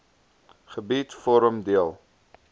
gebied vorm deel